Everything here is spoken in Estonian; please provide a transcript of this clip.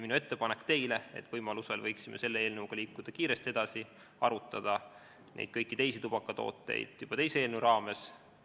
Minu ettepanek teile oli see, et võimaluse korral võiksime selle eelnõuga kiiresti edasi liikuda ja arutada kõiki teisi tubakatooteid juba teise eelnõu raames.